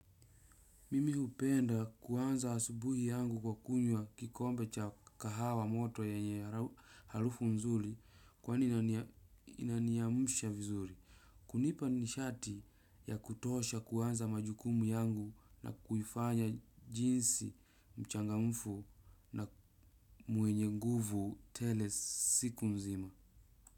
Mimi hupenda kuanza asubuhi yangu kwa kunywa kikombe cha kahawa moto yenye halufu nzuli kwani inaniyamusha vizuri. Kunipa nishati ya kutosha kuanza majukumu yangu na kuifanya jinsi mchangamfu na muenye nguvu tele siku nzima.